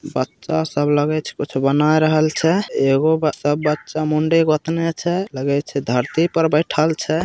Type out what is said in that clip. बच्चा सब लगे छै कुछ बनाए रहल छै एगो सब बच्चा मुंडी गोतने छै लगे छै धरती पर बैठल छै।